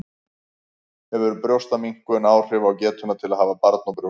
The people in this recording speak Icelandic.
Hefur brjóstaminnkun áhrif á getuna til að hafa barn á brjósti?